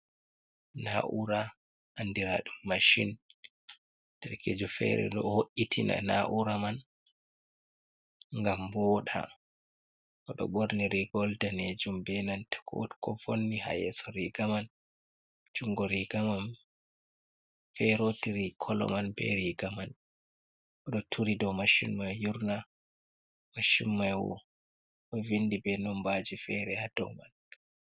Na’ura andiradu mashin, darkejo fere ɗo wo’itina na’ura man ngam woɗa, oɗo ɓorni rigol ɗanejum benanta wot ko vonni ha yeso riga man, jungo riga man feroti ri kolo man be riga man, oɗo turi ɗo mashin mai yurna, machin mai ɗo vindi be nombaji fere ha dou man.